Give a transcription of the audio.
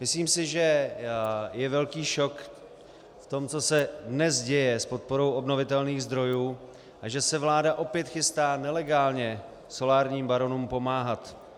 Myslím si, že je velký šok v tom, co se dnes děje s podporou obnovitelných zdrojů, a že se vláda opět chystá nelegálně solárním baronům pomáhat.